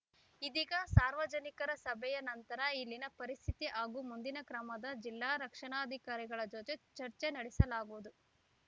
ಇದೀಗ ಸಾರ್ವಜನಿಕರ ಸಭೆಯ ನಂತರ ಇಲ್ಲಿನ ಪರಿಸ್ಥಿತಿ ಹಾಗೂ ಮುಂದಿನ ಕ್ರಮದ ಬಗ್ಗೆ ಜಿಲ್ಲಾರಕ್ಷಣಾಧಿಕಾರಿಗಳ ಜೊತೆ ಚರ್ಚೆ ನಡೆಸಲಾಗುವುದು